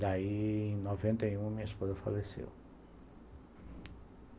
Daí, em noventa e um, minha esposa faleceu.